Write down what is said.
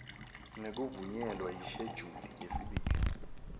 ngekuvunyelwa yishejuli yesibili